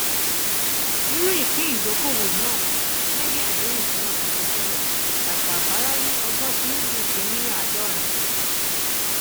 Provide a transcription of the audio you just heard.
nínú ìpín ìdókóówo náà gẹgẹ bí àdéhùn tí wọn ti ṣe tẹlẹ dàpọ àpárá ni ọgbọn tìǹbù sì ní àádọrin